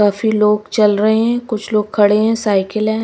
काफी लोग चल रहे हैं कुछ लोग खड़े हैं साइकिल है।